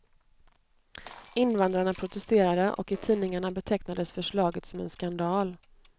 Invandrarna protesterade, och i tidningarna betecknades förslaget som en skandal.